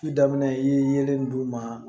Su daminɛ i yelen d'u ma